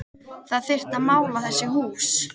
Það þyrfti að mála þessi hús